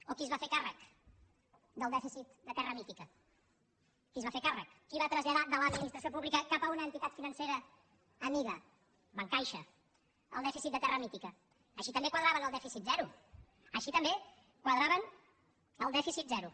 o qui es va fer càrrec del dèficit de terra mítica qui se’n va fer càrrec qui va traslladar de l’administració pública cap a una entitat financera amiga bancaixa el dèficit de terra mítica així també quadraven el dèficit zero així també quadraven el dèficit zero